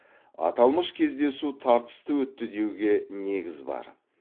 аталмыш кездесу тартысты өтті деуге негіз бар